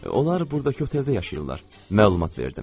Onlar burdakı oteldə yaşayırlar, məlumat verdim.